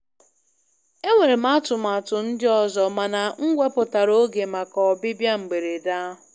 Enwere m atụmatụ ndị ọzọ, mana m wepụtara oge maka ọbịbịa mberede ahụ.